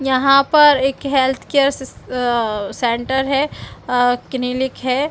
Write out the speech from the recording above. यहाँ पर एक हेल्थ केयर सिस अ सेंटर है अ क्लिनिक हैं ।